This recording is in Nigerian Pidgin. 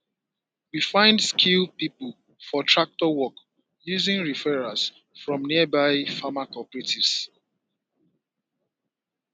we find skilled people for tractor work using referrals from nearby farmer cooperatives